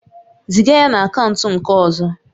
Ziga ya na akaụntụ nke ọzọ